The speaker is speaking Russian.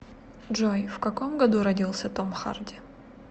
джой в каком году родился том харди